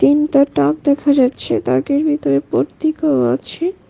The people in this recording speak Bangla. ইন্তর তাক দেখা যাচ্ছে তাকের ভিতর ভর্তি খাওয়া আছে।